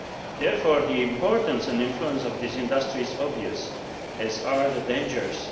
Therefore, the importance and influence of this industry is obvious as are its dangers.